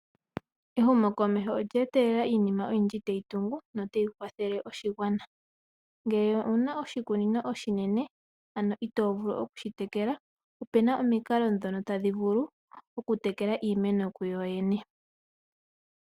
Ehumokomeho olye etelela iinima oyindji tayi tungu notayi kwathele oshigwana. Ngele owu na oshikunino oshinene ano itoovulu okushitekela, opu na omikalo ndhono tadhi vulu okutekela iimeno kuyo yene.